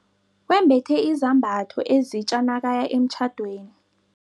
Wembethe izambatho ezitja nakaya emtjhadweni.